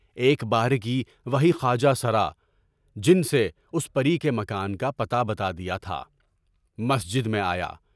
ایک بارگی وہی خواجہ سرا (جن سے اُس پُرے کے مکان کا پتہ بتا دیا تھا) مسجد میں آیا۔